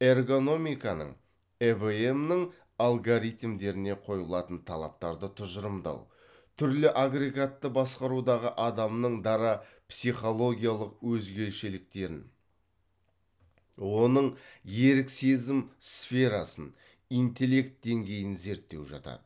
эргономиканың эвм нің алгоритмдеріне қойылатын талаптарды тұжырымдау түрлі агрегатты басқарудағы адамның дара психологиялық өзгешеліктерін оның ерік сезім сферасын интеллект деңгейін зерттеу жатады